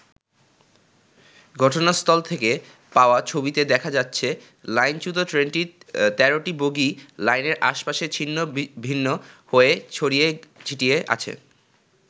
ঘটনাস্থল থেকে পাওয়া ছবিতে দেখা যাচ্ছে লাইন-চ্যুত ট্রেনটির তেরোটি বগিই লাইনের পাশে ছিন্নভিন্ন হয়ে ছড়িয়ে ছিটিয়ে আছে।